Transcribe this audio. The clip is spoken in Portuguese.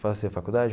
Fazer faculdade?